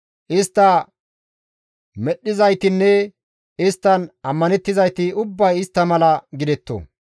Istta medhdhizaytinne isttan ammanettizayti ubbay istta mala gidetto.